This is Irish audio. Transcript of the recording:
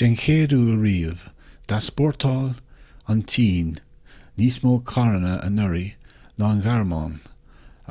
den chéad uair riamh d'easpórtáil an tsin níos mó carranna anuraidh ná an ghearmáin